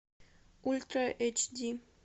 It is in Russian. ультра эйч ди